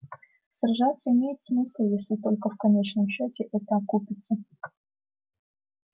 сражаться имеет смысл если только в конечном счёте это окупиться